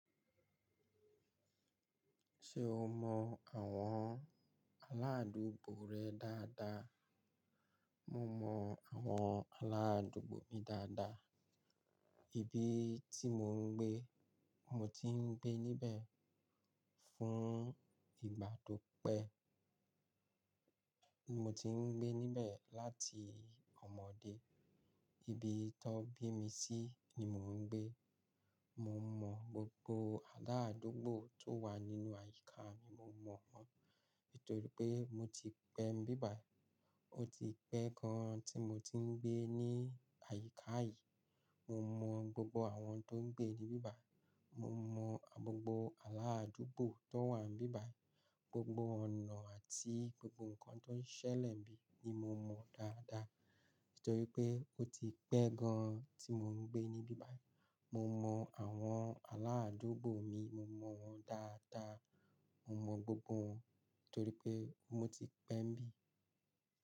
Ṣé o mọ àwọn aládùúgbò rẹ dáadáa? Mo mọ àwọn aládùúgbò mi dáadáa. Ibi tí mò ń gbé, mo ti ń gbé níbẹ̀ fún ìgbà tó pẹ́. Mo ti ń gbé níbẹ̀ láti ọmọdé. Ibi tan bí mi sí ni mò ń gbé. Mo mọ gbogbo aládùúgbò tó wà nínú àyíká mi, mo mọ wọ́n. Nítorí pé mo ti pẹ́ nibíbài. Ó ti pẹ́ gan-an tí mo ti ń gbé ní àyíká yìí. Mo mọ gbogbo àwọn tó ń gbé níbí báyìí. Mo mọ gbogbo aládùúgbò tó wà níbí báyìí. Gbogbo ọ̀nà àti gbogbo ǹkan tó ń ṣẹlẹ̀ níbí ni mo mọ dáadáa. Nítorí pé ó ti pẹ́ gan-an tí mò ń gbé níbí báyìí. Mo mọ àwọn aládùúgbò mi, mo mọ wọ́n dáadáa. Mo mọ gbogbo wọn nítorí pé mo ti pẹ́ níbí.